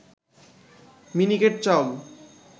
মিনিকেট চাউল